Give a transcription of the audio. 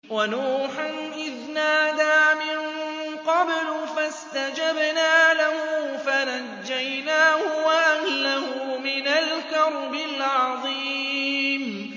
وَنُوحًا إِذْ نَادَىٰ مِن قَبْلُ فَاسْتَجَبْنَا لَهُ فَنَجَّيْنَاهُ وَأَهْلَهُ مِنَ الْكَرْبِ الْعَظِيمِ